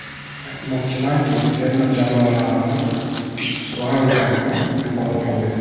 Aytmoqchimanki, terma jamoalarimiz «planka»ni yuqori qo‘ydi.